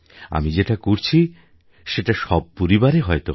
আমি যেটা করছি সেটা সব পরিবারে হয়ত হয়